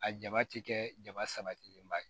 A ja ti kɛ jabasalen ba ye